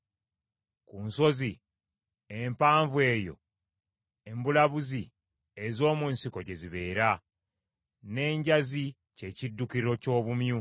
Ku nsozi empanvu eyo embulabuzi ez’omu nsiko gye zibeera; n’enjazi kye kiddukiro ky’obumyu.